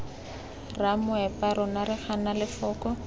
ramoepa rona re gana lefoko